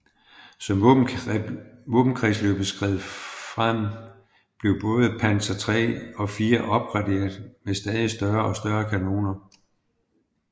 Som våbenkapløbet skred frem blev både Panzer III og IV opgraderet med stadig større og større kanoner